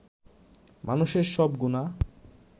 মানষের সব গুনাহ